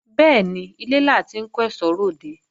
Bẹ́ẹ̀ni, ilé la ti ń kó èsó re òde